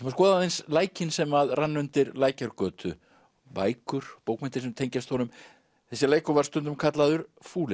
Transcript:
að skoða aðeins lækinn sem rann undir Lækjargötu bækur bókmenntir sem tengjast honum þessi lækur var stundum kallaður